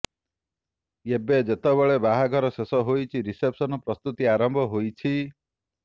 ଏବେ ଯେତେବେଳେ ବାହାଘର ଶେଷ ହୋଛି ରିସେପସନ ପ୍ରସ୍ତୁତି ଆରମ୍ଭ ହୋଇଛି